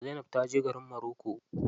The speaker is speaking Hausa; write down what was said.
Zainab ta je garin moroko.